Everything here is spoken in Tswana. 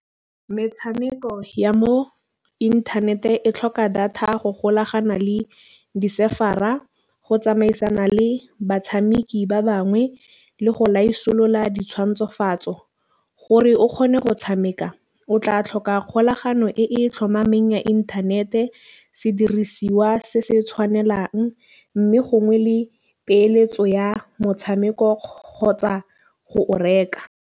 Metšhameko ya mo inthanete e tlhoka data go golagana le di-server-a. Go tsamaisana le batšhameki ba bangwe le go laisolola di tšhwantsofatso gore o kgone go tšhameka. O tla tlhoka kgolagano e tlhomameng ya inthanete sedirisiwa se se tšhwanelang, mme gongwe le peeletso ya motšhameko kgotsa go o reka.